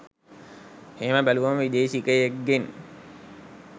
එහෙම බැලුවම විදෙශිකයෙක්ගෙන්